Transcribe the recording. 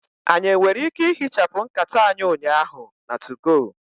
Anyị nwere ike ihichapụ nkata anyị ụnyaahụ na 2go?